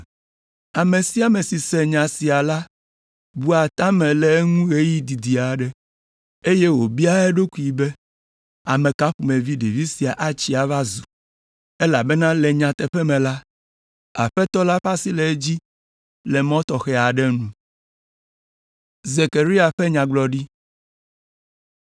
Ame sia ame si se nya sia la bua ta me le eŋu ɣeyiɣi didi aɖe, eye wòbiaa eɖokui be, “Ame ka ƒomevi ɖevi sia atsi ava zu? Elabena le nyateƒe me la, Aƒetɔ la ƒe asi le edzi le mɔ tɔxɛ aɖe nu.”